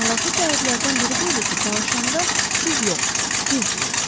Maraqlı cəhətlərdən biri bu idi ki, danışanda, siz yox, biz deyirdi.